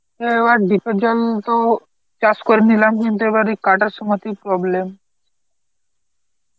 অ্যাঁ এবার deep এর জল তো চাষ করে নিলাম কিন্তু এবার এই কাটার সময় তেই problem